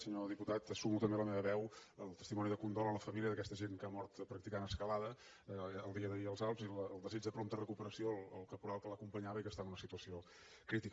senyor diputat sumo també la meva veu al testimoni de condol a la família d’aquest agent que ha mort practicant escalada el dia d’ahir als alps i el desig de prompta recuperació al caporal que l’acompanyava i que està en una situació crítica